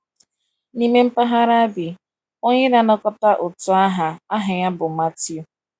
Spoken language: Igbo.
N’ime mpaghara a bi onye na-anakọta ụtụ aha aha ya bụ Matthew.